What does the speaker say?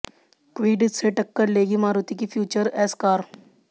Kwid से टक्कर लेगी मारुति की फ्यूचर एस कार